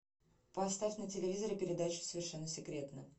поставь на телевизоре передачу совершенно секретно